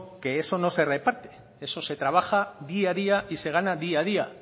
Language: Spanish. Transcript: que eso no se reparte eso se trabaja día a día y se gana día a día